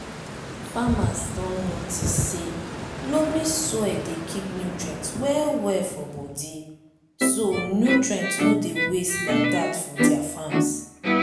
farmers don notice say loamy soil dey keep nutrients well well for bodi so nutrients no dey waste like dat for dia farms